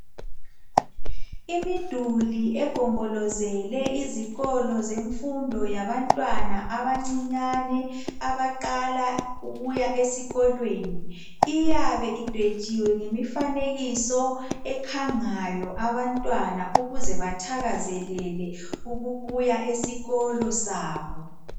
Imiduli egombolozele izikolo zemfundo yabantwana abancane abaqala ukuya esikolweni iyabe idwetshwe imifanekiso ekhanga abantwana ukuze bathakazelele ukubuya esikolo Sabo.